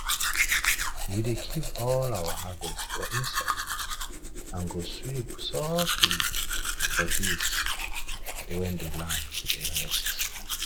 we dey keep all our harvest for inside and go sweep softly for days softly for days when the land dey rest